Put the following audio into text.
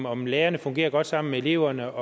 om lærerne fungerer godt sammen med eleverne